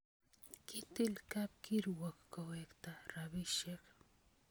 Kitill kapkiruok kowekta rabisiek